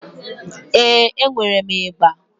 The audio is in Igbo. Ee, enwere m ịgbà.